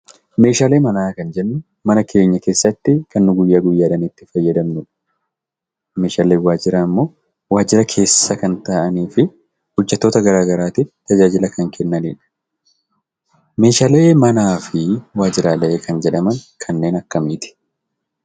Meeshaalee manaa kan jennu; mana keenyaa keessatti Kan nun guyyaa guyyaadhaan itti faayyadaamnuudha. Meeshaaleen waajjiraa immoo waajjiraa keessa Kan ta'anifi hojeettoota garaagaraattif taajajilaa kan kennanidha. Meeshaalee manaafi waajjiraalee kanneen jedhaman kanneen akkamitti?